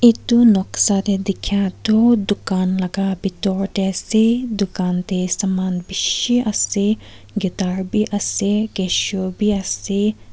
etu noksa te dikhia tu dukan laka bitor te ase dukan te saman bishi ase guitar bi ase casio bi ase.